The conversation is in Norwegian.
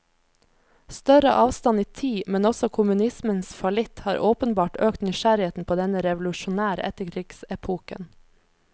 Større avstand i tid, men også kommunismens fallitt, har åpenbart økt nysgjerrigheten på denne revolusjonære etterkrigsepoken.